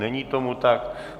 Není tomu tak.